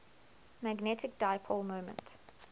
magnetic dipole moment